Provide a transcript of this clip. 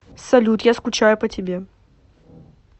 салют я скучаю по тебе